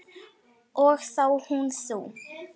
Og þá hún þú.